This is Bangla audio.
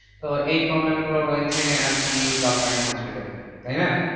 তো এই problem গুলো রয়েছে আর কি government hospital এ, তাইনা?